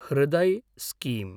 Hriday scheme